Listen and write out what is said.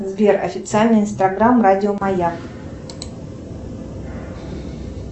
сбер официальный инстаграм радио маяк